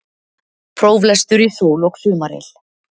Próflestur í sól og sumaryl